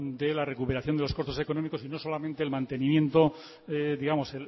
de la recuperación de los costos económicos y no solamente el mantenimiento digamos